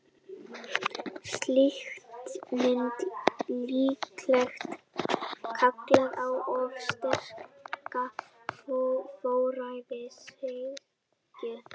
Slíkt myndi líklega kalla á of sterka forræðishyggju.